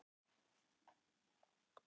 Nei, mér var ekki misþyrmt.